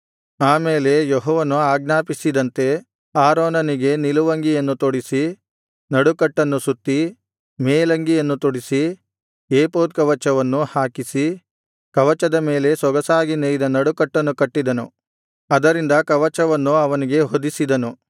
ಆ ಮೇಲೆ ಯೆಹೋವನು ಆಜ್ಞಾಪಿಸಿದಂತೆ ಆರೋನನಿಗೆ ನಿಲುವಂಗಿಯನ್ನು ತೊಡಿಸಿ ನಡುಕಟ್ಟನ್ನು ಸುತ್ತಿ ಮೇಲಂಗಿಯನ್ನು ತೊಡಿಸಿ ಏಫೋದ್ ಕವಚವನ್ನು ಹಾಕಿಸಿ ಕವಚದ ಮೇಲೆ ಸೊಗಸಾಗಿ ನೇಯ್ದ ನಡುಕಟ್ಟನ್ನು ಕಟ್ಟಿದನು ಅದರಿಂದ ಕವಚವನ್ನು ಅವನಿಗೆ ಹೊದಿಸಿದನು